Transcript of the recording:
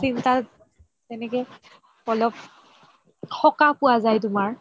চিন্তাত তেনেকে অলপ সকাহ পোৱা যাই তুমাৰ